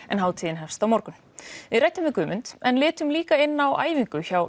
en hátíðin hefst á morgun við ræddum við Guðmund en litum líka inn á æfingu hjá